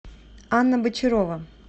анна бочарова